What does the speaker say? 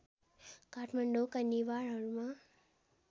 काठमाडौँका नेवारहरूमा